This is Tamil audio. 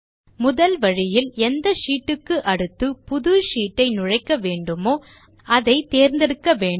முதல் வழியில் எந்த ஷீட் க்கு அடுத்து புது ஷீட் ஐ நுழைக்க வேண்டுமோ அதை தேர்ந்தெடுக்க வேண்டும்